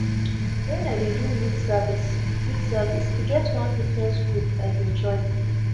wen i dey do youth service youth service e get one fitness group i bin join